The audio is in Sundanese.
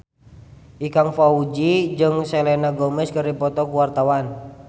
Ikang Fawzi jeung Selena Gomez keur dipoto ku wartawan